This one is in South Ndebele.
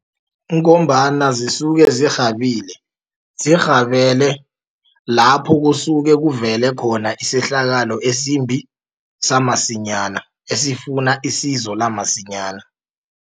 Kungombana zisuke zirhabile, zirhabele lapho kusuke kuvele khona isehlakalo esimbi samasinyana esifuna isizo lamasinyana.